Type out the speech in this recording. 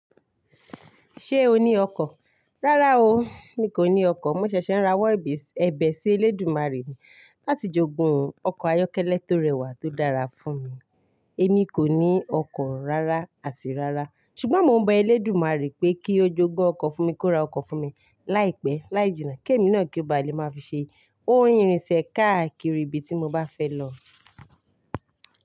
Ṣé o ní ọkọ̀? Rárá o, mi kò ní ọkọ̀. Mo ṣẹ̀ṣẹ̀ ń rawọ́ ẹbẹ ebe sí Elédùmarè mi láti jogun ọkọ̀ ayọ́kẹ́lẹ́ tó rẹwà tó dára fún mi. Èmi kò ní ọkọ̀ rárá àti rárá. Ṣùgbọ́n mo ń be Elédùmarè pé kí ó jogun ọkọ̀ fún mi kó ra ọkọ̀ fún mi. Láìpẹ́, láì jìnnà, kí èmi náà kí n ba lè máa fi ṣe ohun ìrìnsẹ̀ káàkiri ibi tí mo bá fẹ́ lọ.